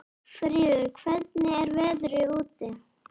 Fríður, hvernig er veðrið úti?